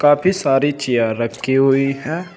काफी सारी चेयर रखी हुई है।